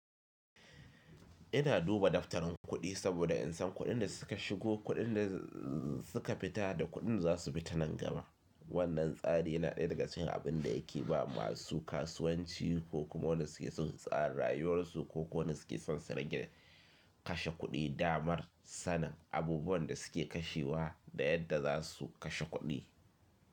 Ina duba daftarin kuɗi saboda in san kuɗin da suka shigo, kuɗin da suka fita da kuɗin za su fita nan gaba. Wannan tsari yana ɗaya daga cikin abin da yake ba masu kasuwanci ko kuma wanda suke son tsara rayuwarsu ko wanda suke son sararin kashe kuɗi damar sanin abubuwan da suke kashewa da yadda za su kashe kuɗi.